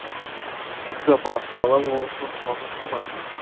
апа бала болған соң жыламай тұра ма